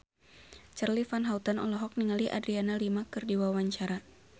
Charly Van Houten olohok ningali Adriana Lima keur diwawancara